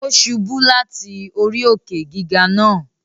Ó ṣubú láti orí òkè-gígà náà